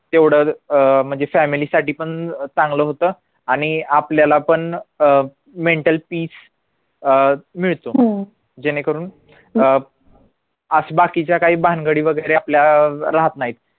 तेवढं अं म्हणजे family साठी पण चांगलं होतं आणि आपल्याला पण अं mental peace अं मिळतो हम्म जेणेकरून अह असं बाकीच्या काय भानगडी वगैरे आपल्या राहत नाहीत